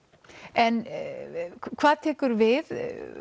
en hvað tekur við